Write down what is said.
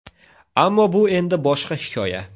Ammo bu endi boshqa hikoya...